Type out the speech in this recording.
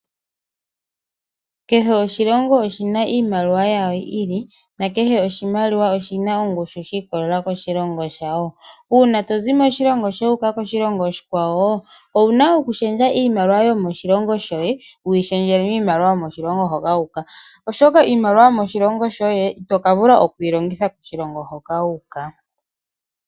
Kehe oshilongo oshi na iimaliwa yawo yi ili na kehe oshimaliwa oshi na ongushu shiikolelela koshilongo shawo. Uuna to zi moshilongo shoye wuuka koshilongo oshikwawo owu na okushendja iimaliwa yo moshilongo shoye wu yi shendjele miimaliwa yomoshilongo hoka wuuka oshoka iimaliwa yomoshilongo shoye ito ka vula okuyi longitha koshilongo hoka wu uka.